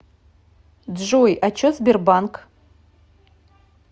джой а че сбербанк